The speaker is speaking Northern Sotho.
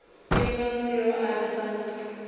ke mang yo a sa